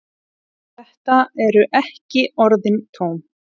Þetta eru ekki orðin tóm.